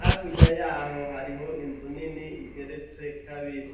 hakurya yaho hariho Inzu nini igeretse kabiri.